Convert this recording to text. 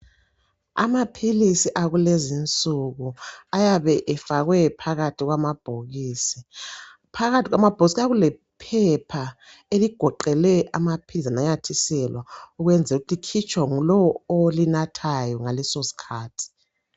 Amaphilisi akulezinsuku ayabe efakwe phakathi kwamabhokisi. Phakathi kwamabhokisi kuya kulephepha eligoqele amaphilisi ananyathiselwa ukwenzel'ukuthi likhitshwa ngulowo olinathayo ngaleso sikhathi.